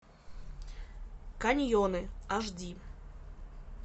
каньоны аш ди